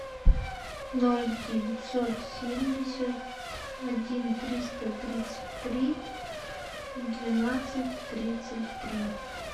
ноль девятьсот семьдесят один триста тридцать три двенадцать тридцать три